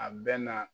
A bɛ na